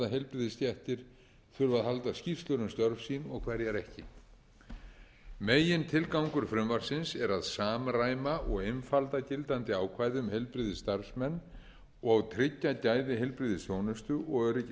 heilbrigðisstéttir þurfa að halda skýrslur um störf sín og hverjar ekki megintilgangur frumvarpsins er að samræma og einfalda gildandi ákvæði um heilbrigðisstarfsmenn og tryggja gæði heilbrigðisþjónustu og öryggi